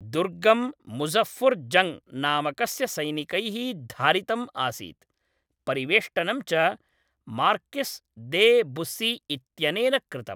दुर्गं मुज़फ़्फ़र् जङ्ग् नामकस्य सैनिकैः धारितम् आसीत्, परिवेष्टनं च मार्किस् दे बुस्सी इत्यनेन कृतम्।